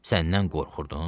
Səndən qorxurdun?